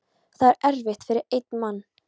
Það er erfitt fyrir einn mann.